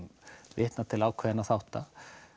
vitnað til ákveðinna þátta